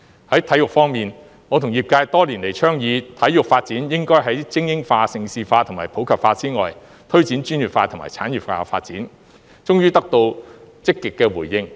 在體育方面，我和業界多年來倡議體育發展應該精英化、盛事化和普及化以外，推展專業化和產業化發展，終於得到積極的回應。